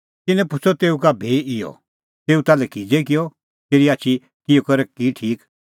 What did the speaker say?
तिन्नैं पुछ़अ तेऊ का भी इहअ तेऊ ताल्है किज़ै किअ तेरी आछी किहअ करै की ठीक